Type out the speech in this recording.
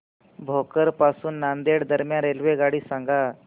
भोकर पासून नांदेड दरम्यान रेल्वेगाडी सांगा